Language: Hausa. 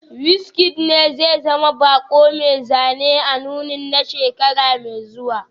WizKid ne zai zama bako mai zane a nunin na shekara mai zuwa